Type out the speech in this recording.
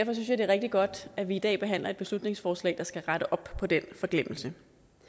er rigtig godt at vi i dag behandler et beslutningsforslag der skal rette op på den forglemmelse